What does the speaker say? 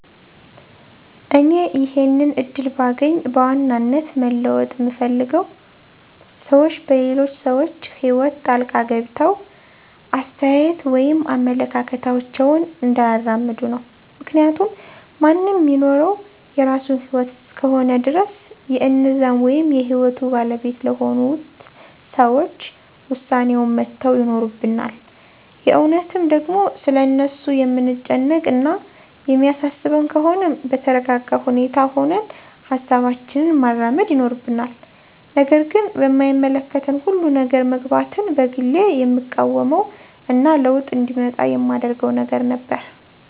እኔ ይሄንን እድል ባገኝ በዋናነት መለወጥ ምፈልገው ሰዎች በሌሎች ሰዎች ህይወት ጣልቃ ገብተው አስተያየት ወይም አመለካከታቸውን እንዳያራምዱ ነው። ምክንያቱም ማንም ሚኖረው የራሱን ህይወት እስከሆነ ድረስ የእነዛን ወይም የህይወቱ ባለቤት ለሆኑት ሰዎች ዉሳኔዉን መተው ይኖርብናል። የእውነትም ደግሞ ስለ እነርሱ የምንጨነቅ እና የሚያሳስበን ከሆነም በተረጋጋ ሁኔታ ሁነን ሀሳባችንን ማራመድ ይኖርብናል። ነገር ግን በማይመለከተን ሁሉ ነገር መግባትን በግሌ የምቃወመው እና ለዉጥ እንዲመጣ የማደርገው ነገር ነበር።